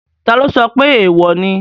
Taló sọ pé èèwò ni?